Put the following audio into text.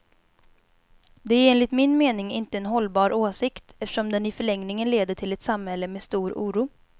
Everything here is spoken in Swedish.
Det är enligt min mening inte en hållbar åsikt, eftersom den i förlängningen leder till ett samhälle med stor oro.